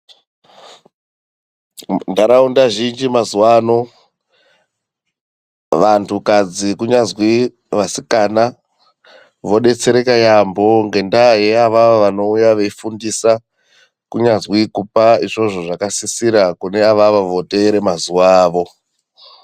Ndaraunda zhinji mazuva ano vantu kadzi ku nyazwi vasikana vo detsereka yambo ngendaa ye avavo vanouya vei fundisa kunyazwi kupa izvozvo zvaka sisira kune avavo vo teere mazuva awo.